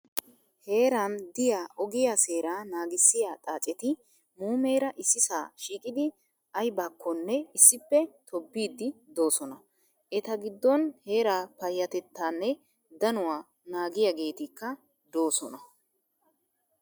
Heeran diyaa ogiyaa seeraa naagissiyaa xaaceti muumeera issisaa shiiqidi ayibakkonne issippe tobbiiddi doosona. Eta giddon heeraa payyatettaanne danuwaa naagiyaageetikka doosona.